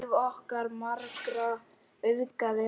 Líf okkar margra auðgaði hann.